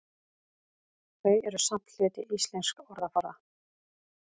Þau eru samt hluti íslensks orðaforða.